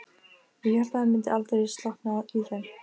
Ég hélt að það myndi aldrei slokkna í þeim.